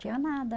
Tinha nada.